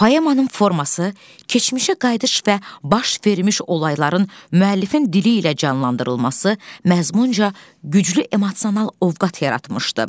Poemanın forması, keçmişə qayıdış və baş vermiş olayların müəllifin dili ilə canlandırılması məzmunca güclü emosional ovqat yaratmışdı.